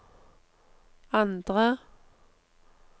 andre